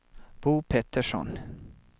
Bo Pettersson